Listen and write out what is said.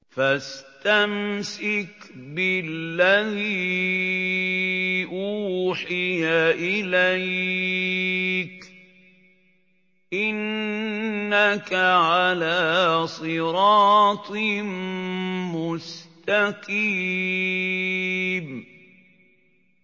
فَاسْتَمْسِكْ بِالَّذِي أُوحِيَ إِلَيْكَ ۖ إِنَّكَ عَلَىٰ صِرَاطٍ مُّسْتَقِيمٍ